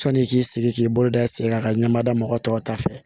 Sɔnni k'i sigi k'i bolo da i sen kan ka ɲɛma da mɔgɔ tɔw ta fɛ